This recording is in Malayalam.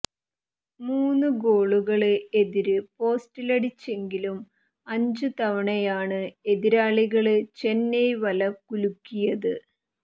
മൂന്നുഗോളുകള് എതിര് പോസ്റ്റിലടിച്ചെങ്കിലും അഞ്ച് തവണയാണ് എതിരാളികള് ചെന്നൈ വല കുലുക്കിയത്